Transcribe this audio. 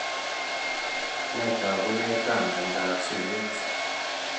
Nee taakunetaab myondap Summitt?